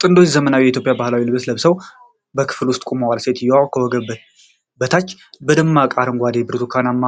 ጥንዶች ዘመናዊ የኢትዮጵያ ባህላዊ ልብሶች ለብሰው በክፍል ውስጥ ቆመዋል። ሴትየዋ ከወገብ በታች በደማቅ አረንጓዴና ብርቱካናማ